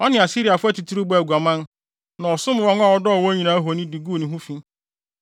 Ɔne Asiriafo atitiriw bɔɔ aguaman, na ɔsom wɔn a ɔdɔɔ wɔn nyinaa ahoni de guu ne ho fi.